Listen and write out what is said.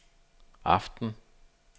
aften